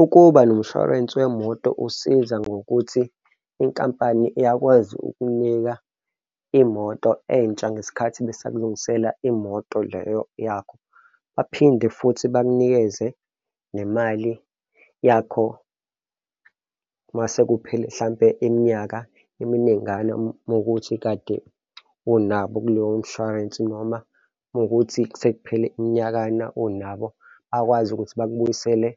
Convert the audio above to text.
Ukuba nomshwarensi wemoto usiza ngokuthi inkampani iyakwazi ukunika imoto entsha ngesikhathi besakulungisela imoto leyo yakho. Baphinde futhi bakunikeze nemali yakho masekuphele mhlampe iminyaka eminingana uma kuwukuthi kade onabo kuleyo mshwarensi, noma uma kuwukuthi sekuphele iminyakana unabo, bakwazi ukuthi bakubuyisele